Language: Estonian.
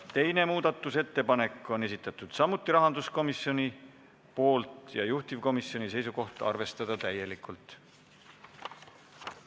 Teise muudatusettepaneku on esitanud samuti rahanduskomisjon ja juhtivkomisjoni seisukoht on: arvestada täielikult.